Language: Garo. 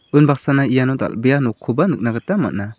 unbaksana iano dal·bea nokkoba nikna gita man·a.